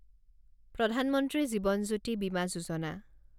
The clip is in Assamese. প্ৰধান মন্ত্ৰী জীৱন জ্যোতি বিমা যোজনা